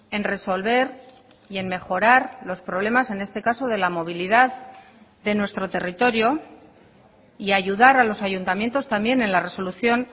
en resolver y en mejorar los problemas en este caso de la movilidad de nuestro territorio y ayudar a los ayuntamientos también en la resolución